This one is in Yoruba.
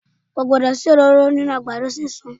Ko gbọdọ̀ sí òróró nínú àgbàdo sísun.